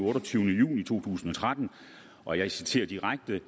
otteogtyvende juni to tusind og tretten og jeg citerer direkte